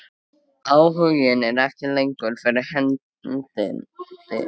Áhuginn er ekki lengur fyrir hendi.